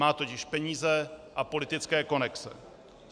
Má totiž peníze a politické konexe.